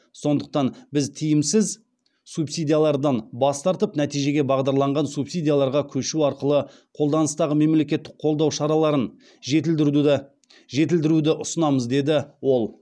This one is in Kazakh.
сондықтан біз тиімсіз субсидиялардан бас тартып нәтижеге бағдарланған субсидияларға көшу арқылы қолданыстағы мемлекеттік қолдау шараларын жетілдіруді ұсынамыз деді ол